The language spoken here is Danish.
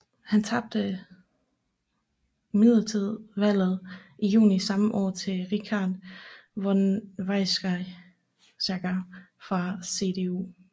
Han tabte imidlertid valget i juni samme år til Richard von Weizsäcker fra CDU